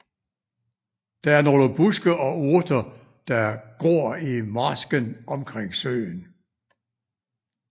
Der er nogle buske og urter der gor i marsken omkring søen